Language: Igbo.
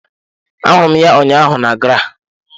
Ahụrụ m ya ụnyaahụ na GRA.